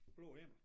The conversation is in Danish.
Blå himmel